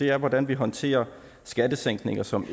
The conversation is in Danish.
er hvordan vi håndterer skattesænkninger som